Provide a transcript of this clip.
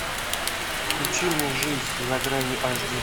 включи мне жизнь за гранью аш ди